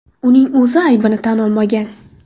Uning o‘zi aybini tan olmagan.